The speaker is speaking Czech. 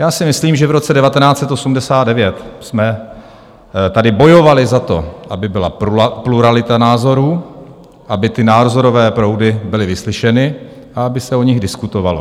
Já si myslím, že v roce 1989 jsme tady bojovali za to, aby byla pluralita názorů, aby ty názorové proudy byly vyslyšeny a aby se o nich diskutovalo.